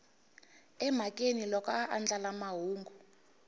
emhakeni loko a andlala mahungu